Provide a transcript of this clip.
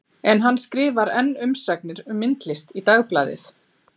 En hann skrifar enn umsagnir um myndlist í Dagblaðið.